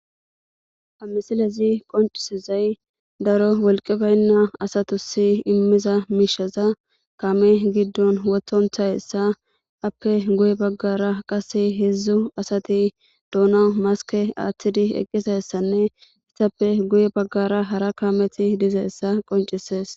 amesilezi qoncisezay daro wolqe baynna asatusi immiza miisheza kame giddon wothonthayessa appe guye baggara qase heedzdzu asati doona maske aaththidi eqqisayssanne issappe guye baggara hara kameti dizeessa qoncisees